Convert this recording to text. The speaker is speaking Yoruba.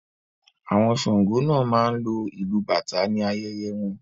Àwọn Sàngó náà máa ń lo ìlu bàtà ní ayẹyẹ wọn